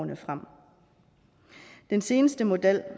den seneste model